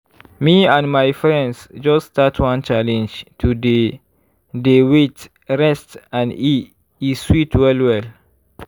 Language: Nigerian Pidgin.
me and my friends just start one challenge to dey dey wait rest and e sweet well well.